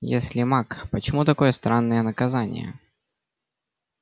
если маг почему такое странное наказание